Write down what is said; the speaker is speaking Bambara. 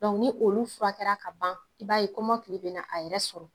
ni olu furakɛra ka ban i b'a ye kɔmɔkili bɛna a yɛrɛ sɔrɔ.